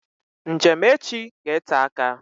Njem echi ga-ete aka